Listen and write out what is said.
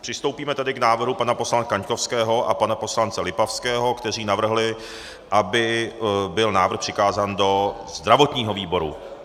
Přistoupíme tedy k návrhu pana poslance Kaňkovského a pana poslance Lipavského, kteří navrhli, aby byl návrh přikázán do zdravotního výboru.